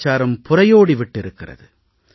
கலாச்சாரம் புரையோடி விட்டிருக்கிறது